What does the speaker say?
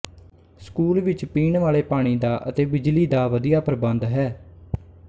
school ਵਿੱਚ ਪੀਣ ਵਾਲੇ ਪਾਣੀ ਦਾ ਅਤੇ ਬਿਜਲੀ ਦਾ ਵਧੀਆ ਪ੍ਰਬੰਧ ਹੈ